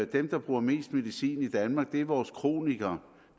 dem der bruger mest medicin i danmark er vores kronikere